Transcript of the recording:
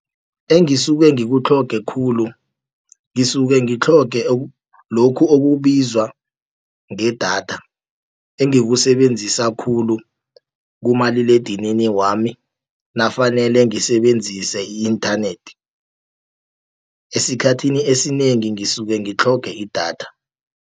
Engisuke ngikutlhoge khulu, ngisuke ngitlhoge lokhu okubizwa ngedatha, engikusebenzisa khulu kumaliledinini wami nafanele ngisebenzise i-inthanethi. Esikhathini esinengi ngisuke ngitlhoge idatha.